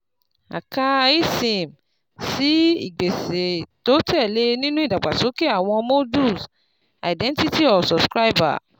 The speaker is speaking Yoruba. A kà eSIM sí ìgbésẹ̀ tó tẹ̀ lé e nínú ìdàgbàsókè àwọn Modules Identity of Subscriber